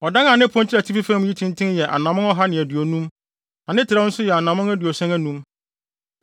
Ɔdan a ne pon kyerɛ atifi fam yi tenten yɛ anammɔn ɔha ne aduonum, na ne trɛw nso yɛ anammɔn aduɔson anum.